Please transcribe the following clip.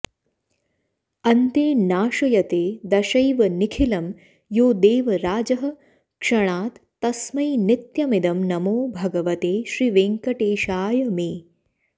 अन्ते नाशयते दशैव निखिलं यो देवराजः क्षणात् तस्मै नित्यमिदं नमो भगवते श्रीवेङ्कटेशाय मे